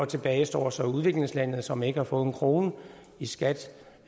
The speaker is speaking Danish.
tilbage står så udviklingslandene som ikke har fået en krone i skat